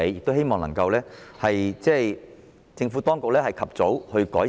我希望政府當局能夠及早加以改善。